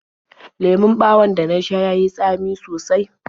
Lemon ɓawon da na sha ya yi tsami sosai.